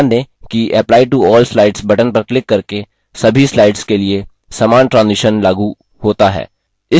ध्यान दें कि apply to all slides button पर क्लिक करके सभी slides के लिए समान transition लागू होता है